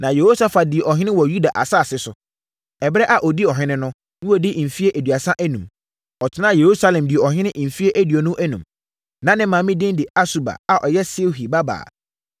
Na Yehosafat dii ɔhene wɔ Yuda asase so. Ɛberɛ a ɔdii ɔhene no, na wadi mfeɛ aduasa enum. Ɔtenaa Yerusalem dii ɔhene mfeɛ aduonu enum. Na ne maame din de Asuba a ɔyɛ Silhi babaa.